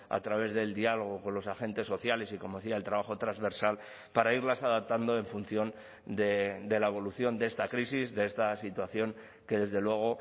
a través del diálogo con los agentes sociales y como decía el trabajo transversal para irlas adaptando en función de la evolución de esta crisis de esta situación que desde luego